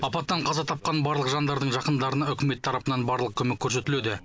апаттан қаза тапқан барлық жандардың жақындарына үкімет тарапынан барлық көмек көрсетілуде